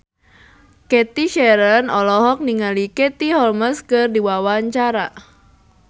Cathy Sharon olohok ningali Katie Holmes keur diwawancara